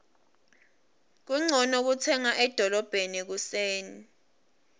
kuncono kutsenga edolobheni ekuseni